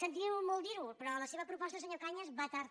sentim molt dir ho però la seva proposta senyor cañas va tard